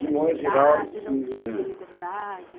Tinha liberdade, não tinha liberdade?